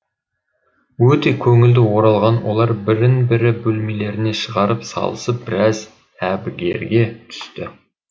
өте көңілді оралған олар бірін бірі бөлмелеріне шығарып салысып біраз әбігерге түсті